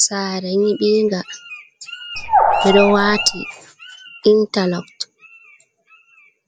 Sara nibinga do wati interloct